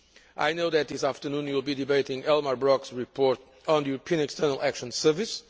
I know that this afternoon, you will be debating Elmar Brok's report on the European External Action Service.